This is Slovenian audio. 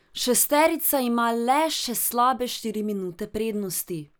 Šesterica ima le še slabe štiri minute prednosti.